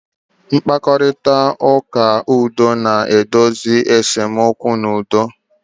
Mkparịta ụka udo na-edozi esemokwu n'udo.